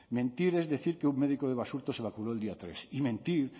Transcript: mentir es decir que un médico de basurto se vacunó el día tres y mentir